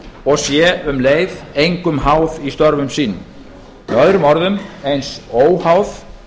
og sé um leið engum háð í störfum sínum með öðrum orðum eins óháð